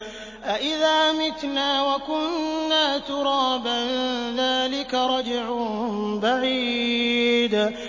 أَإِذَا مِتْنَا وَكُنَّا تُرَابًا ۖ ذَٰلِكَ رَجْعٌ بَعِيدٌ